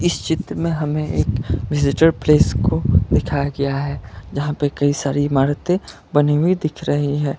इस चित्र में हमें एक विजिटर प्लेस को दिखाया गया है जहां पर कई सारी इमारते बनी हुई दिख रही है।